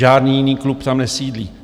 Žádný jiný klub tam nesídlí.